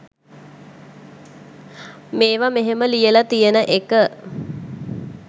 මේවා මෙහෙම ලියලා තියන එක.